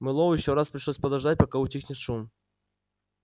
мэллоу ещё раз пришлось подождать пока утихнет шум